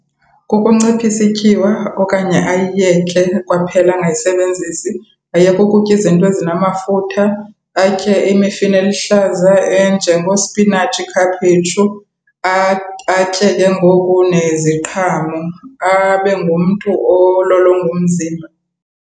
Kukunciphisa ityiwa okanye ayiyeke kwaphela angayisebenzisi. Ayeke ukutya izinto ezinamafutha, atye imifuno eluhlaza enjengoospinatshi, ikhaphetshu, atye ke ngoku neziqhamo. Abe ngumntu ololonga umzimba.